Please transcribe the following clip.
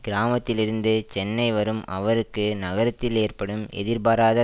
கிராமத்திலிருந்து சென்னை வரும் அவருக்கு நகரத்தில் ஏற்படும் எதிர்பாராத